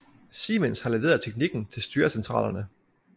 Siemens har leveret teknikken til styrecentralerne